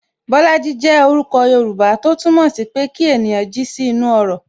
Bolaji jẹ orúkọ Yoruba, tó túmọ̀ sí pé kí ènìyàn jí sí inú ọrọ̀